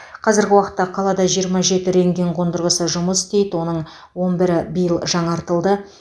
қазіргі уақытта қалада жиырма жеті рентген қондырғысы жұмыс істейді оның он бірі биыл жаңартылды